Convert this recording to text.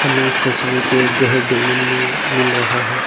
मे इस तस्वीर पे घर देखने में मिल रहा है।